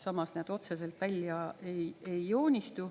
Samas need otseselt välja ei joonistu.